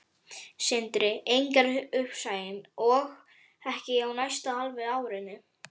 Sindri: Engar uppsagnir, og ekki á næsta hálfa árinu?